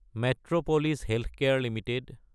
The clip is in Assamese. Metropolis healthcare Ltd